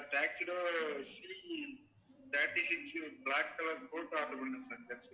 c thirty six black colour coat order பண்ணிருந்தேன் sir